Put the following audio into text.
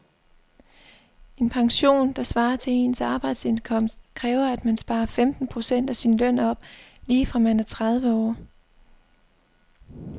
En pension, der svarer til ens arbejdsindkomst, kræver at man sparer femten procent af sin løn op lige fra man er tredive år.